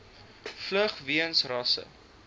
vlug weens rasse